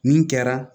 Nin kɛra